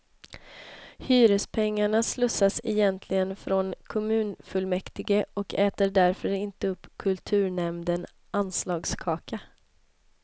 Hyrespengarna slussas egentligen från kommunfullmäktige och äter därför inte upp kulturnämnden anslagskaka.